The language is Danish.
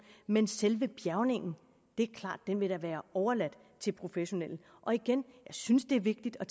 men selve bjærgningen vil være overladt til professionelle og igen jeg synes det er vigtigt at